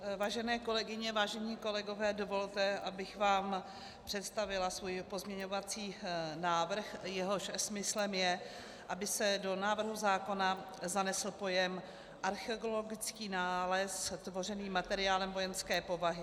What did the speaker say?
Vážené kolegyně, vážení kolegové, dovolte, abych vám představila svůj pozměňovací návrh, jehož smyslem je, aby se do návrhu zákona zanesl pojem "archeologický nález tvořený materiálem vojenské povahy".